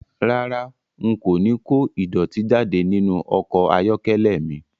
Rárá, n kò ní kó ìdọ̀tí jáde nínú ọkọ̀ ayọ́kẹ́lẹ́ mi